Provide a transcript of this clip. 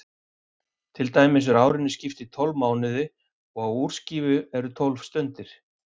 Til dæmis er árinu skipt í tólf mánuði og á úrskífu eru tólf stundir.